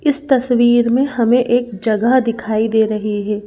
इस तस्वीर में हमें एक जगह दिखाई दे रही है।